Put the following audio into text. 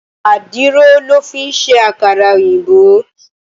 Àdìrò lò fin sé àkárà-óyinbó